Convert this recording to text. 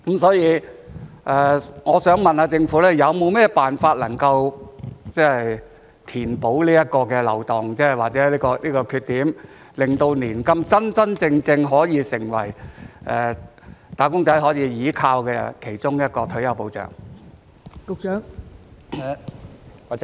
所以，我想問政府有沒有甚麼辦法填補這個漏洞或缺點，令年金真真正正成為"打工仔"可以依靠的其中一項退休保障？